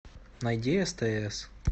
найди стс